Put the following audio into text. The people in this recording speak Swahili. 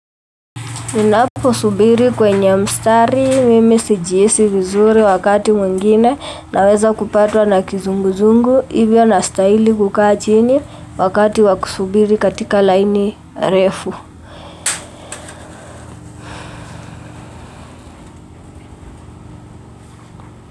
Ninapo subiri kwenye mstari mimi si jihisi vizuri wakati mwengine naweza kupatwa na kizunguzungu hivyo na stahili kukaa chini wakati wakusubiri katika laini refu.